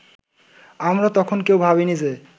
আমরা তখন কেউ ভাবিনি যে